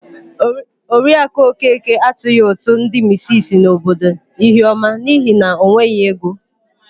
Oriakụ Okeke atụghị ụtụ ndị misisi n'obodo Ihiọma n'ihi na o nweghị ego.